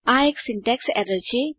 આ એક syntax error છે